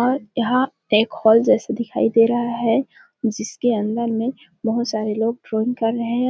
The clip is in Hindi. और यहाँ पे एक हॉल जैसा दिखाई दे रहा है जिसके अंदर में बहुत सारे लोग ड्रॉइंग कर रहे है।